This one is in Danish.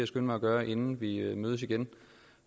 skynde mig at gøre inden vi mødes igen